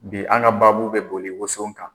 Bi an ka baabu bɛ boli woson kan.